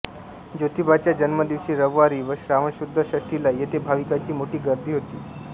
ज्योतिबाच्या जन्मदिवशी रविवारी व श्रावणशुद्ध षष्ठीला येथे भाविकांची मोठी गर्दी होते